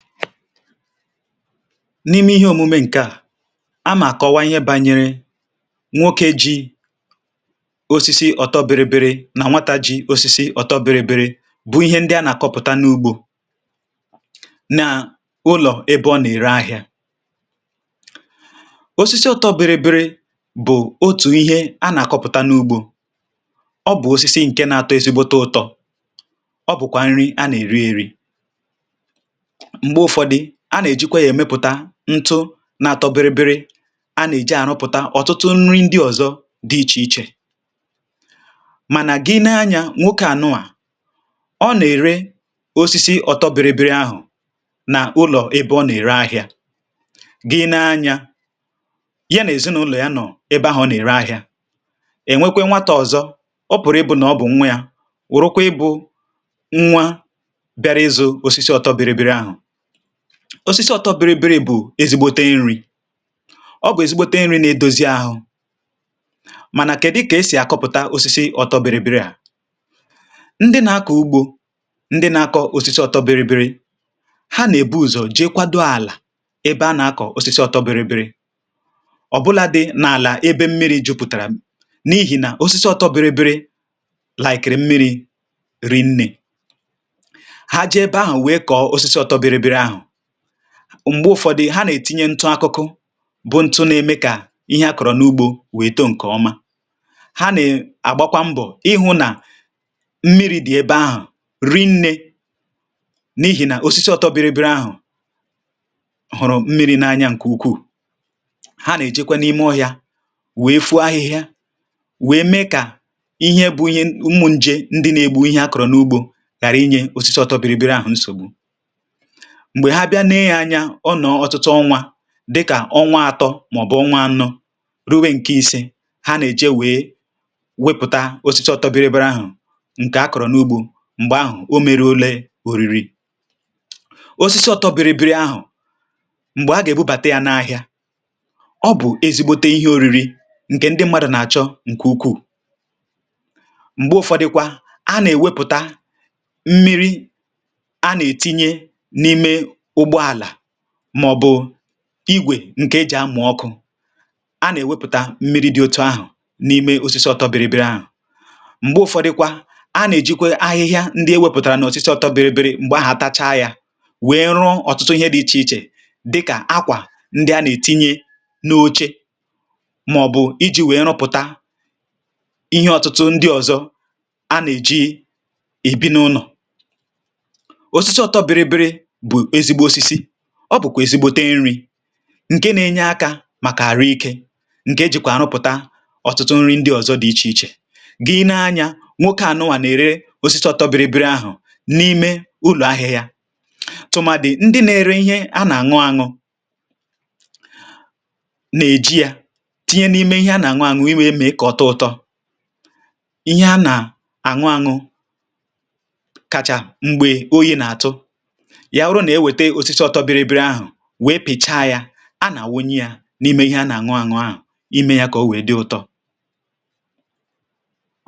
n’ime ihe omume ǹkè à a mà àkọwa ihe bȧnyere nwoke ji osisi ọtọ biri biri nà nwata ji osisi ọtọ biri biri bụ̀ ihe ndị a nà-àkọpụ̀ta n’ugbȯ nà ụlọ̀ ebe ọ nà-ère ahịȧ osisi ọtọ biri biri bụ̀ otù ihe a nà-àkọpụ̀ta n’ugbȯ ọ bụ̀ osisi ǹke nà-àtọ ezi̇gbote ụtọ̇ ọ bụ̀kwà nri a nà-èri eri̇ ntu nà-àtọberibiri a nà-èji ànụpụ̀ta ọ̀tụtụ nri ndị ọ̀zọ dị̇ ichè ichè mànà gị n’anya nwokė ànụà ọ nà-ère osisi ọtọberibiri ahụ̀ nà ụlọ̀ ebe ọ nà-ère ahịȧ gị n’anya ya nà-èzinụlọ̀ ya nọ̀ ebe ahụ̀ ọ nà-ère ahịȧ ènwekwe nwata ọ̀zọ ọ pụ̀rụ̀ ịbụ̇ nà ọ bụ̀ nwa yȧ wụrụkwa ịbụ̇ nwa bịara ịzụ̇ osisi ọtọberibiri ahụ̀ osisi ọtọ biribiri bụ ezi̇gbote nri̇ ọ bụ ezi̇gbote nri̇ na-edozi ahụ mànà kèdi kà esì àkọpụ̀ta osisi ọtọ biribiri ndị na-akọ̀ ugbȯ ndị na-akọ̀ osisi ọtọ biribiri ha nà-èbu ụzọ̀ jee kwadȯ àlà ebe a nà-akọ̀ osisi ọtọ biribiri ọ̀ bụla dị̇ n’àlà ebe mmiri̇ jupùtàrà n’ihì nà osisi ọtọ biribiri hụrụ mmiri̇ rinnė m̀gbè ụ̀fọdụ ha nà-ètinye ntụ akụkụ bụ ntụ na-eme kà ihe akọ̀rọ̀ n’ugbȯ wèto ǹkè ọma ha nà-àgbakwa mbọ̀ ịhụ̇ nà mmiri̇ dị̀ ebe ahụ̀ ri nnė n’ihì nà òsisi ọtọ biribiri ahụ̀ hụ̀rụ̀ mmiri̇ nȧ anya ǹkè ukwuù ha nà-èjekwe n’ime ọhịȧ wèe fù ahịhịa wèe mee kà ihe bụ̇ ihe ṁmụ̇ ṅjė ndị na-egbu ihe akọ̀rọ̀ n’ugbȯ kàra inye osisi ọtọ biribiri ahụ̀ nsògbu ǹke à ọnwa atọ mọ̀bụ̀ ọnwa anọ rùwe ǹkè isi̇ ha nà-èje wèe wepụ̀ta osisi ọtọbịrịbịrị ahụ̀ ǹkè a kọ̀rọ̀ n’ugbȯ m̀gbè ahụ̀ o mere ole òriri osisi ọtọbịrịbịrị ahụ̀ m̀gbè a gà-èbụbàta ya n’ahịa ọ bụ̀ ezi̇gbote ihe òriri ǹkè ndị mmadụ̀ nà-àchọ ǹkè ukwuù m̀gbè ụfọdịkwa a nà-èwepụta mmiri a nà-ètinye n’ime màọ̀bụ̀ igwè ǹkè e jì amà ọkụ a nà-èwepụ̀ta mmiri dị̇ otu ahụ̀ n’ime osisi ọtọbịrịbịrị ahụ̀ m̀gbè ụfọdụkwa a nà-èjikwa ahịhịa ndị ewepụ̀tàrà n’ọsịsọ ọtọbịrịbịrị m̀gbè ahụ̀ àtacha yȧ wèė rụ ọ̀tụtụ ihe dị̇ ichè ichè dịkà akwà ndị a nà-ètinye n’oche màọ̀bụ̀ iji̇ wèe rụpụ̀ta ihe ọ̀tụtụ ndị ọ̀zọ a nà-èji ebi n’ụnọ̀ ǹke nȧ-enye akȧ màkà àrụ ikė ǹke ejìkwà ànụpụ̀ta ọ̀tụtụ nri ndị ọzọ dị̀ ichè ichè gị n’anya nwokė ànụwà nà-ère osisi ọtọ biribiri ahụ̀ n’ime ụlọ̀ ahịhịa tụ̀màdị̀ ndị nėrė ihe a nà-àṅụ aṅụ nà-èji yȧ tinye n’ime ihe a nà-àṅụ aṅụ imė mee kà ọtọ ụ̇tọ ihe a nà-àṅụ aṅụ kacha m̀gbè oyi̇ nà-àtụ a nà-àwunye yȧ n’ime ihe a nà-àṅụ àṅụ ahụ̀ ime yȧ kà ọ wèe dị ụtọ